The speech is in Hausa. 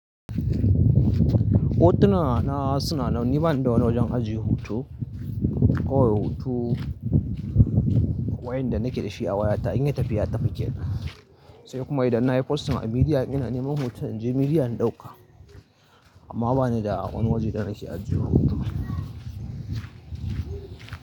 Hotuna na suna nan, ni bani da wani wajen ajiye hoto kawai hoto waƴanda nake da shi a wayata in yi tafi ya tafi kenan. Sai kuma idan na yi posting a midiya in ina neman hoton in je midiyan in ɗauka amma ba ni da wani wajen da nake ajiye hoto.